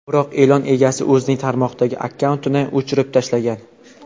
Biroq e’lon egasi o‘zining tarmoqdagi akkauntini o‘chirib tashlagan.